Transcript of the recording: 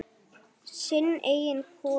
Sinn eiginn kofa.